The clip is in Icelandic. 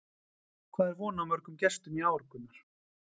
Hvað er von á mörgum gestum í ár, Gunnar?